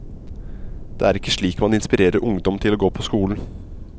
Det er ikke slik man inspirerer ungdom til å gå på skolen.